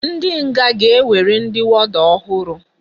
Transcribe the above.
Ndi nga ga enwere ndi warder ohuru